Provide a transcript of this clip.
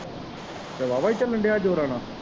ਤੇ ਵਾਵਾ ਈ ਚੱਲਣ ਦਿਆ ਜੋਰਾਂ ਨਾਲ।